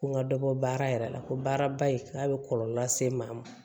Ko n ka dɔ bɔ baara yɛrɛ la ko baaraba in k'a bɛ kɔlɔlɔ lase maa ma